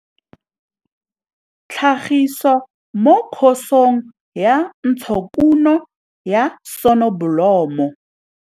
Tlhagiso mo Khosong ya Ntshokuno ya Sonobolomo.